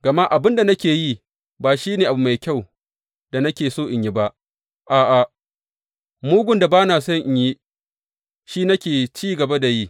Gama abin da nake yi ba shi ne abu mai kyau da nake so in yi ba; a’a, mugun da ba na so in yi, shi ne nake ci gaba da yi.